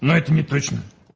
но это неточно